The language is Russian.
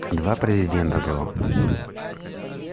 два президента было